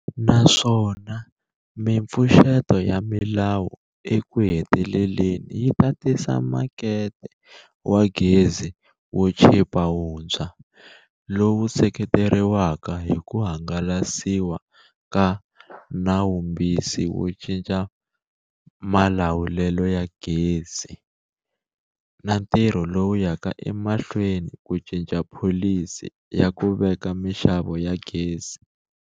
Naswona mipfuxeto ya milawu ekuheteleleni yi ta tisa makete wa gezi wo chipa wuntshwa, lowu seketeriwaka hi ku hangalasiwa ka Nawumbisi wo Cinca Malawulelo ya Gezi na ntirho lowu yaka emahlweni ku cinca Pholisi ya ku Veka Mixavo ya Gezi.